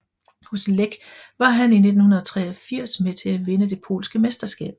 Hos Lech var han i 1983 med til at vinde det polske mesterskab